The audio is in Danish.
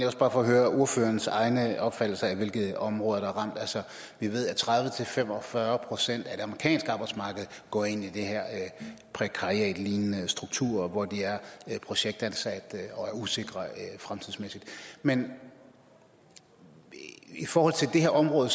også bare for at høre ordførerens egne opfattelser af hvilke områder der er ramt vi ved at tredive til fem og fyrre procent af det amerikanske arbejdsmarked går ind i den her prekariatlignende struktur hvor de er projektansatte og er usikre fremtidsmæssigt men i forhold til det her område